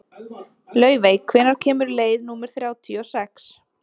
Laufey, hvenær kemur leið númer þrjátíu og sex?